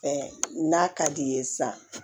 Ɛɛ n'a ka di ye sisan